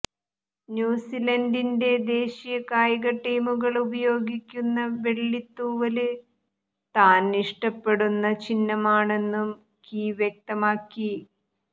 ന്യൂസിലന്ഡിന്റെ ദേശീയ കായിക ടീമുകള് ഉപയോഗിക്കുന്ന വെള്ളിത്തൂവല് താന് ഇഷ്ടപ്പെടുന്ന ചിഹ്നമാണെന്നും കീ വ്യക്തമാക്കി